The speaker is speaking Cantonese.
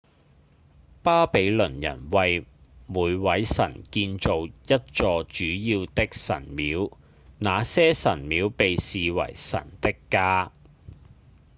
巴比倫人為每位神建造一座主要的神廟那些神廟被視為神的家